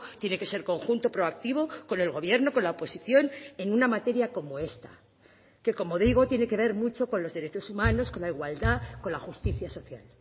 tiene que ser conjunto proactivo con el gobierno con la oposición en una materia como esta que como digo tiene que ver mucho con los derechos humanos con la igualdad con la justicia social